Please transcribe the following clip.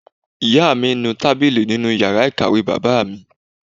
Ìyá mi ń nu tábìlì nínú yàrá ìkàwé bàbá mi